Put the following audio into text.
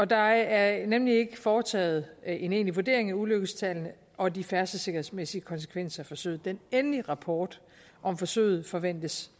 der er nemlig ikke foretaget en egentlig vurdering af ulykkestallene og de færdselssikkerhedsmæssige konsekvenser af forsøget den endelige rapport om forsøget forventes